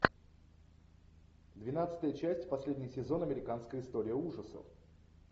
двенадцатая часть последний сезон американская история ужасов